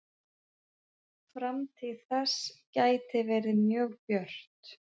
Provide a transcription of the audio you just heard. Framtíð þess gæti verið mjög björt.